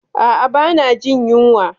Ah ah ba na jin yunwa